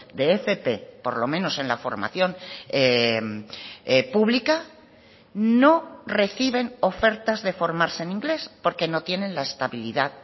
de fp por lo menos en la formación publica no reciben ofertas de formarse en inglés porque no tienen la estabilidad